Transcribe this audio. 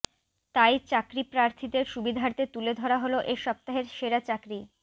তাই চাকরিপ্রার্থীদের সুবিধার্থে তুলে ধরা হলো এ সপ্তাহের সেরা চাকরি